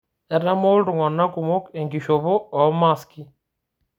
Etaamo ltung'ana kumok enkishopo oo maaski